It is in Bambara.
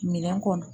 Minɛn kɔnɔ